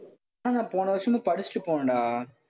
ஆனா போன வருஷமும் படிச்சுட்டு போனேன்டா.